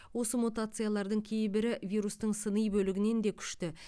осы мутациялардың кейбірі вирустың сыни бөлігінен де күшті